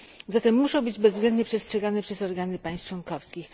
Zatem muszą być one bezwzględnie przestrzegane przez organy państw członkowskich.